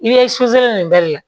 I bɛ nin bɛɛ de la